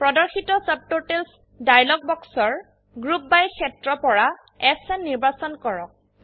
প্ৰদৰ্শিত ছাবটোটেলছ ডায়লগ বাক্সৰ গ্ৰুপ বাই ক্ষেত্ৰ পৰা এছএন নিৰ্বাচন কৰক